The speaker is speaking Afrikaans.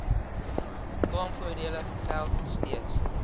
kraamvoordele geld steeds